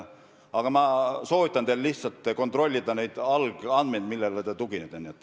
Aga ma soovitan teil lihtsalt kontrollida algandmeid, millele te tuginete.